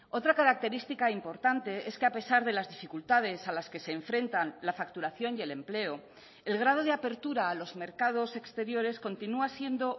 otra característica importante es que a pesar de las dificultades a las que se enfrentan la facturación y el empleo el grado de apertura a los mercados exteriores continúa siendo